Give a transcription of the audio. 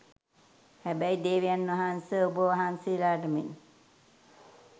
හැබැයි දේවයන් වහන්ස ඔබවහන්සේලාට මෙන්